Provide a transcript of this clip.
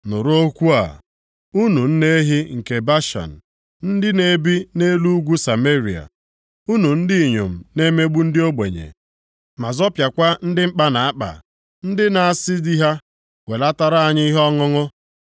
Nụrụ okwu a, unu nne ehi nke Bashan, ndị na-ebi nʼelu ugwu Sameria, unu ndị inyom na-emegbu ndị ogbenye, ma zọpịakwa ndị mkpa na-akpa, ndị na-asị di ha, “welatara anyị ihe ọṅụṅụ”